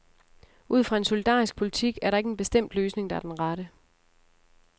Ud fra en solidarisk politik er der ikke en bestemt løsning, der er den rette.